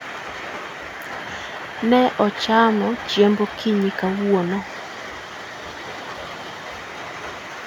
Ne achamo chiemb okinyi kawuono